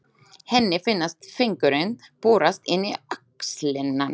Henni finnast fingurnir borast inn í axlirnar.